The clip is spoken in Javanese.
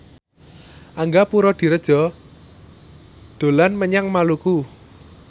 Angga Puradiredja dolan menyang Maluku